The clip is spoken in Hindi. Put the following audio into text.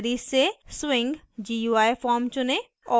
categories से swing gui forms चुनें